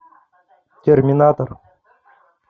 терминатор